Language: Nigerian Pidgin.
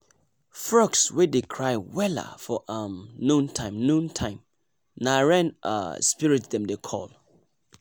frogs wey dey cry wella for um noon time noon time nah rain um spirit dem dey call